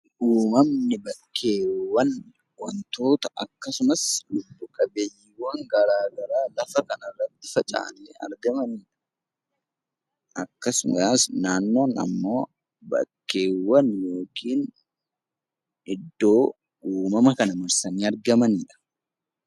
Uumamamni wantoota akkasumas bakkee lubbu qabeeyyiiwwan garaagaraa lafa kana irratti faca'anii argaman akkasumas naannoon bakkeewwan iddoo uumama marsanii argamanidha.